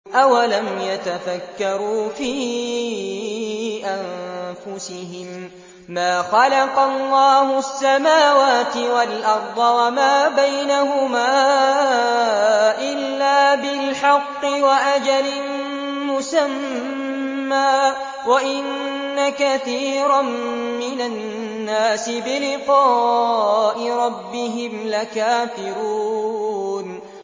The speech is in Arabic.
أَوَلَمْ يَتَفَكَّرُوا فِي أَنفُسِهِم ۗ مَّا خَلَقَ اللَّهُ السَّمَاوَاتِ وَالْأَرْضَ وَمَا بَيْنَهُمَا إِلَّا بِالْحَقِّ وَأَجَلٍ مُّسَمًّى ۗ وَإِنَّ كَثِيرًا مِّنَ النَّاسِ بِلِقَاءِ رَبِّهِمْ لَكَافِرُونَ